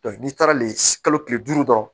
n'i taara le kalo kile duuru dɔrɔn